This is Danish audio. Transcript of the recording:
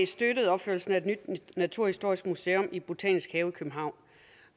støttet opførelsen af et nyt naturhistorisk museum i botanisk have i københavn